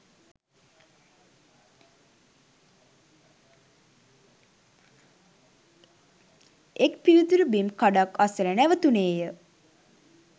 එක් පිවිතුරු බිම් කඩක් අසල නැවතුණේ ය.